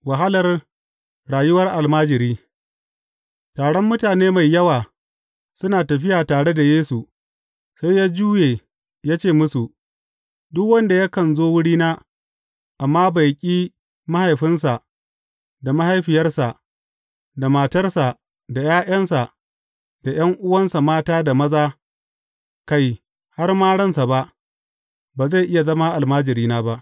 Wahalar rayuwar almajiri Taron mutane mai yawa suna tafiya tare da Yesu, sai ya juya ya ce musu, Duk wanda yakan zo wurina, amma bai ƙi mahaifinsa da mahaifiyarsa, da matarsa da ’ya’yansa, da ’yan’uwansa mata da maza, kai, har ma ransa ba, ba zai iya zama almajirina ba.